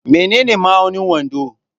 Menene ma'aunin wando?